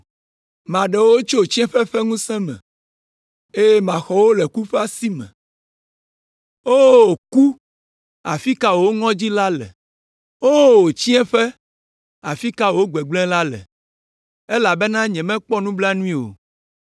“Maɖe wo tso tsiẽƒe ƒe ŋusẽ me, eye maxɔ wo le ku ƒe asi me. O ku, afi ka wò ŋɔdzi la le? O tsiẽƒe, afi ka wò gbegblẽ la le? Elabena nyemakpɔ nublanui o.